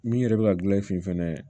Min yɛrɛ bɛ ka gilan i finma